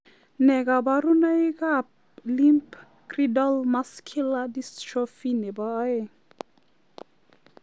Nee kabarunoikab Limb girdle muscular dystrophy nebo aeng'?